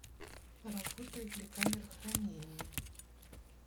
работает ли камера хранения